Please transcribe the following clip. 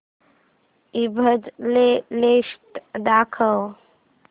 ईबझ लेटेस्ट दाखव